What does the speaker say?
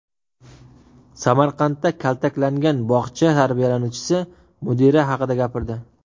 Samarqandda kaltaklangan bog‘cha tarbiyalanuvchisi mudira haqida gapirdi.